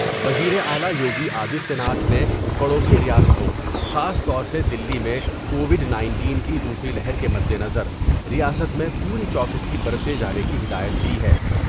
وزیراعلی یوگی آدتیہ ناتھ نے پڑوی ریاستوں خاص طور سے دلی میں کووڈ نائنٹین کی دوسری لہر کے مدنظر ریاست میں پوری چوکسی برتے جانے کی ہدایت دی ہے ۔